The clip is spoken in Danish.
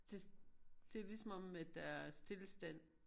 Det det ligesom om at der er stilstand